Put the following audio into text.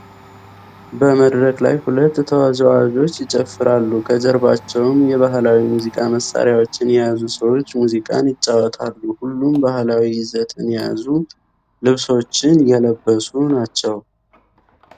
በመድረክ ላይ ሁለት ተወዛዋዦች ይጨፍራሉ፤ ከጀርባቸውም የባህላዊ ሙዚቃ መሳሪያዎችን የያዙ ሰዎች ሙዚቃን ይጫወታሉ። ሁሉም ባህላዊ ይዘትን የያዙ ልብሶችን የለበሱ ናቸው።